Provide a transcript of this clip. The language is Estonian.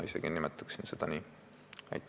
Ma nimetaksin seda isegi nii.